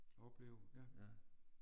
Oplev ja